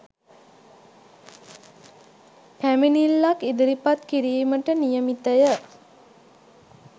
පැමිණිල්ලක් ඉදිරිපත් කිරීමට නියමිතය